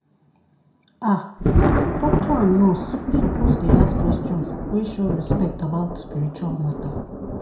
ah doctor and nurse suppose dey ask question wey show respect about spiritual matter.